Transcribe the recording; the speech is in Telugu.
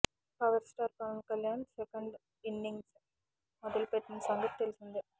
power star Pawan Kalyan second innings మొదలుపెట్టిన సంగతి తెలిసిందే